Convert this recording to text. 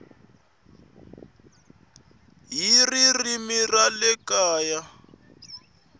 hi ririmi ra le kaya